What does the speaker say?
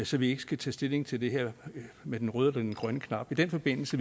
så vi ikke skal tage stilling til det her med den røde eller den grønne knap i den forbindelse